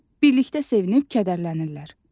Birlikdə sevinib kədərlənirlər.